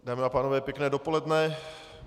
Dámy a pánové, pěkné dopoledne.